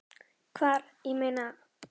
Hvar, ég meina.